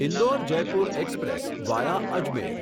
Indore Jaipur express via Ajmer